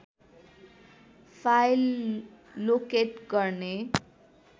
file locate गर्ने